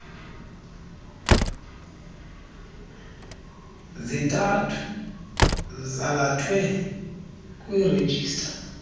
zintathu zalathwe kwirejista